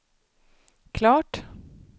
klart